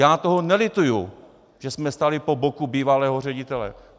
Já toho nelituju, že jsme stáli po boku bývalého ředitele.